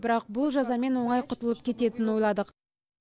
бірақ бұл жазамен оңай құтылып кететінін ойладық